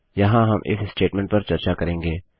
यहाँ हम if statement पर चर्चा करेंगे